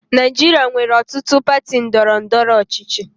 Naijiria nwere ọtụtụ pati ndọrọ ndọrọ ọchịchị.